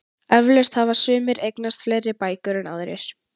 Eflaust hafa sumir eignast fleiri bækur en aðrir.